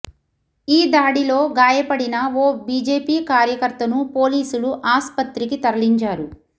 ఈ దాడిలో గాయపడిన ఓ బిజెపి కార్యకర్తను పోలీసులు ఆస్పత్రికి తరలించారు